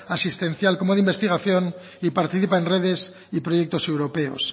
asistencial como de investigación y participa en redes y proyectos europeos